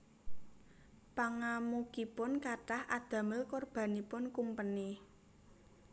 Pangamukipun kathah adamel korbanipun kumpeni